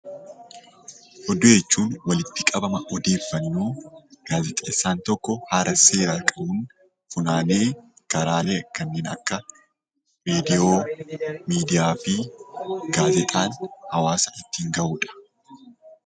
Oduu jechuun walitti qabama odeeffannoo gaazexeessaan tokko haala seera qabuun funaanee karaalee kanneen akka viidiyoo, miidiyaafi gaazexaan hawaasa ittiin ga'udha.